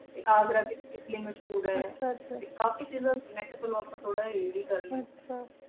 T ਅਘਾਰਾ ਵੇ ਮਸ਼ਹੂਰ ਆਯ ਆਹ ਆਹ ਟੀ ਕਾਫੀ ਚੀਜ਼ਾ ਮਸ਼ਹੂਰ ਆਯ ਚਲੋ ਅਪਾ ਥੋਰਾ ਜਿਯਾ read ਹੀ ਕਰ ਲੀ